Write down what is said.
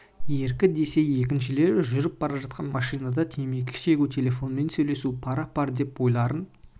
еркі десе екіншілері жүріп бара жатқан машинада темекі шегу телефонмен сөйлесумен пара пар деп ойларын